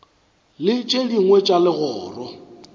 le tše dingwe tša legoro